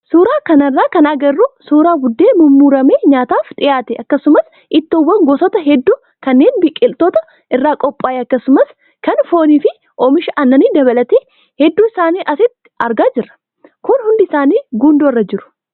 Suuraa kanarraa kan agarru suuraa buddeena mummuramee nyaataaf dhiyaate akkasumas ittoowwan gosoota hedduu kanneen biqiloota irraa qophaaye akkasumas kan foonii fi oomisha aannanii dabalatee hedduu isaanii asitti argaa jirra. Kun hundisaanii gundoorra jiru.